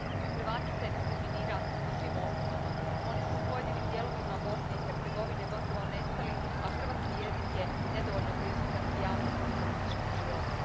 Hrvate se diskriminira po svim osnovama, oni su u pojedinim dijelovima Bosne i Hercegovine gotovo nestali, a hrvatski jezik je nedovoljno prisutan u javnom i političkom životu.